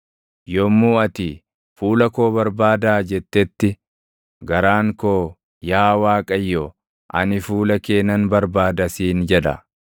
Yommuu ati, “Fuula koo barbaadaa!” jettetti, garaan koo, “Yaa Waaqayyo, ani fuula kee nan barbaada” siin jedha.